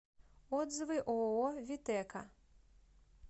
отзывы ооо витэка